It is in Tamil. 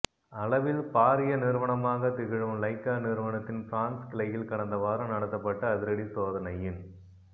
அளவில் பாரிய நிறுவனமாகத் திகழும் லைகா நிறுவனத்தின் பிரான்ஸ் கிளையில் கடந்த வாரம் நடத்தப்பட்ட அதிரடி சோதனையின்